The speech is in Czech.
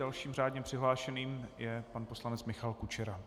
Dalším řádně přihlášeným je pan poslanec Michal Kučera.